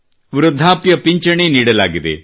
ವೃದ್ಧಾಪ್ಯ ಪಿಂಚಣಿ ನೀಡಲಾಗಿದೆ